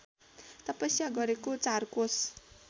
तपस्या गरेको चारकोस